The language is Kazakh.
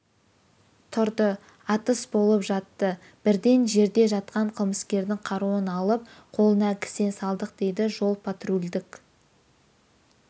тұрды атыс болып жатты бірден жерде жатқан қылмыскердің қаруын алып қолына кісен салдық дейді жол-патрульдік